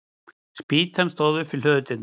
Spýtan stóð upp við hlöðudyrnar.